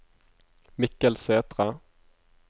Mikkel Sæthre